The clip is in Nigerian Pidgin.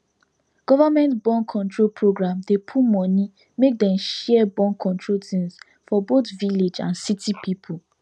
government borncontrol program dey put money make dem share borncontrol things for both village and city people